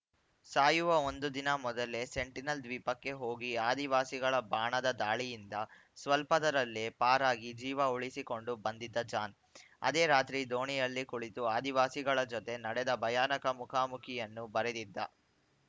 ಸಾಯುವ ಒಂದು ದಿನ ಮೊದಲೇ ಸೆಂಟಿನೆಲ್‌ ದ್ವೀಪಕ್ಕೆ ಹೋಗಿ ಆದಿವಾಸಿಗಳ ಬಾಣದ ದಾಳಿಯಿಂದ ಸ್ವಲ್ಪದರಲ್ಲೇ ಪಾರಾಗಿ ಜೀವ ಉಳಿಸಿಕೊಂಡು ಬಂದಿದ್ದ ಜಾನ್‌ ಅದೇ ರಾತ್ರಿ ದೋಣಿಯಲ್ಲಿ ಕುಳಿತು ಆದಿವಾಸಿಗಳ ಜತೆ ನಡೆದ ಭಯಾನಕ ಮುಖಾಮುಖಿಯನ್ನು ಬರೆದಿದ್ದ